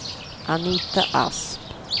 Anita Asp